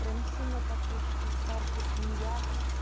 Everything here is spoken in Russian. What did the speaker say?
прям сильно так уж и старше чем я